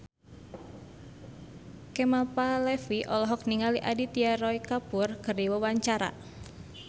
Kemal Palevi olohok ningali Aditya Roy Kapoor keur diwawancara